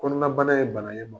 Kɔnɔnabana ye bana ye